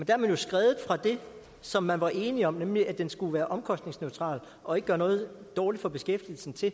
er man jo skredet fra det som man var enige om nemlig at den skulle være omkostningsneutral og ikke gøre noget dårligt for beskæftigelsen til